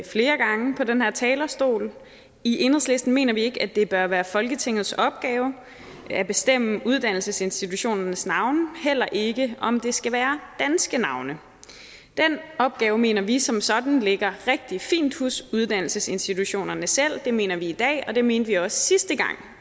flere gange fra den her talerstol i enhedslisten mener vi ikke at det bør være folketingets opgave at bestemme uddannelsesinstitutionernes navne heller ikke om det skal være danske navne den opgave mener vi som sådan ligger rigtig fint hos uddannelsesinstitutionerne selv det mener vi i dag og det mente vi også sidste gang